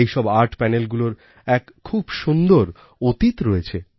এইসব আর্ট Panelগুলোর এক খুব সুন্দর অতীত রয়েছে